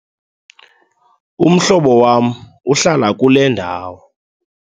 Umhlobo wam uhlala kule ndawo.